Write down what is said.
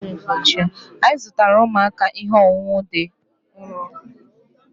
anyị zụtara ụmụaka ihe ọṅụṅụ dị nro